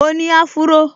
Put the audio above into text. Mo ni áfúró